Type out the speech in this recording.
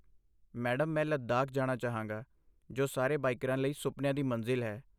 Madam, ਮੈਂ ਲੱਦਾਖ ਜਾਣਾ ਚਾਹਾਂਗਾ, ਜੋ ਸਾਰੇ ਬਾਈਕਰਾਂ ਲਈ ਸੁਪਨਿਆਂ ਦੀ ਮੰਜ਼ਿਲ ਹੈ।